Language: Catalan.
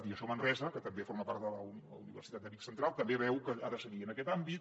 i manresa que també forma part de la universitat de vic central també veu que ha de seguir en aquest àmbit